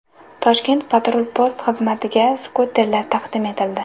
Toshkent patrul-post xizmatiga skuterlar taqdim etildi.